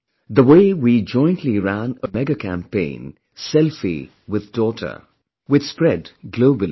The way we jointly ran a mega campaign "Selfie with daughter", which spread globally